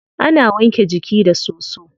Ana wanke jiki da soso.